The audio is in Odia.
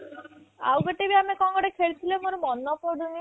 ଆଉ ଗୋଟେ ବି ଆମେ କଣ ଗୋଟେ ଖେଳି ଥିଲେ ମୋର ମନେ ପଡୁନି